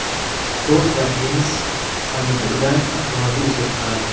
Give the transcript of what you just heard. Ford va Heinz pomidordan avtomobil ishlab chiqaradi.